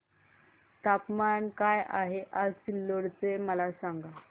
तापमान काय आहे आज सिल्लोड चे मला सांगा